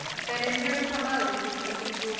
Management ਸੰਭਾਲਦੇ ਸੀ ਉਹਨਾਂ ਦੀ ਜੋ